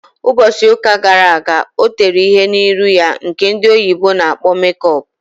Mbosi uka gara aga o tere ihe n'iru ya nke ndị oyibo na-akpọ make up.